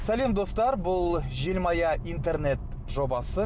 сәлем достар бұл желмая интернет жобасы